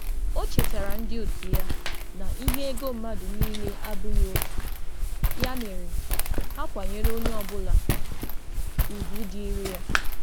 Ọ̀ chetárà òtù ya na njem ego mmadụ ọ̀lụ̀ dị iche iche, ya kwesịrị ntụ̀kwàsị obi na nsọpụrụ.